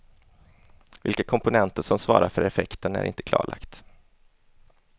Vilka komponenter som svarar för effekten är inte klarlagt.